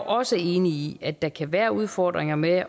også enig i at der kan være udfordringer med